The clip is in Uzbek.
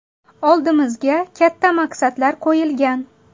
Oldimizga katta maqsadlar qo‘yilgan.